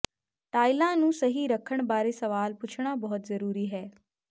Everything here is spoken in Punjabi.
ਟਾਈਲਾਂ ਨੂੰ ਸਹੀ ਰੱਖਣ ਬਾਰੇ ਸਵਾਲ ਪੁੱਛਣਾ ਬਹੁਤ ਜਰੂਰੀ ਹੈ